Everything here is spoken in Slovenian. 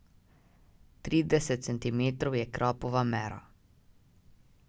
Trideset centimetrov je krapova mera.